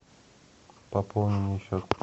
пополни мне счет